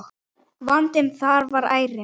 Vandinn þar er ærinn.